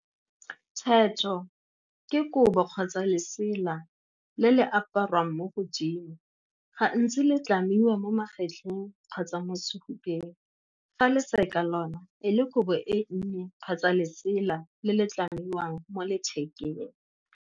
Theto ke kobo kgotsa lesela le le aparwang mo godimo, ga ntsi le tlamiwa mo magetleng kgotsa mo sefubeng, fa leseka lona e le kobo e nnye kgotsa lesela le le tlamiwang mo lethekeng.